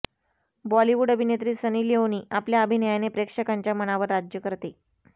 बॉलिवूड अभिनेत्री Sunny Leone आपल्या अभिनयाने प्रेक्षकांच्या मनावर राज्य करते